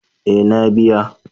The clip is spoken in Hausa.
Eh na biya.